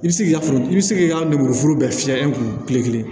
I bɛ se k'i ka foro i bɛ se k'i ka lemuru foro bɛɛ fiyɛ i kun kile kelen